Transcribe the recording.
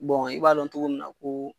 i b'a dɔn cogo min na ko